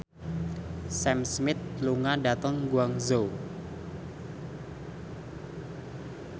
Sam Smith lunga dhateng Guangzhou